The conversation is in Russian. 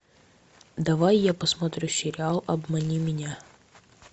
давай я посмотрю сериал обмани меня